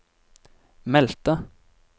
meldte